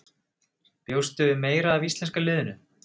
Bjóstu við meira af íslenska liðinu?